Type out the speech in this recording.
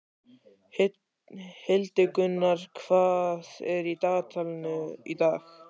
Hildigunnur, hvað er í dagatalinu í dag?